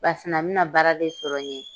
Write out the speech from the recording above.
Basina a bɛ na baara de sɔrɔ n ye.